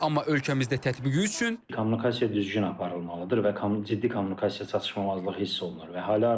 Amma ölkəmizdə tətbiqi üçün ciddi yanaşma aparılmalıdır və ciddi kommunikasiya çatışmazlığı hiss olunur.